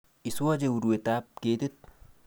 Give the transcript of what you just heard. Iswoche urwetab ketit